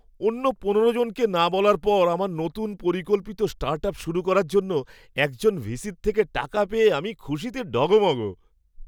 অন্য ১৫ জনকে না বলার পর আমার নতুন পরিকল্পিত স্টার্টআপ শুরু করার জন্য একজন ভিসির থেকে টাকা পেয়ে আমি খুশিতে ডগমগ!